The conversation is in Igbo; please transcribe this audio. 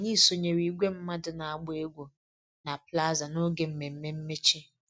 Anyị sonyeere igwe mmadụ na-agba egwu na plaza n'oge mmemme mmechi